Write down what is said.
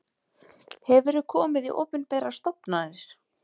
Hefurðu komið í opinberar stofnanir?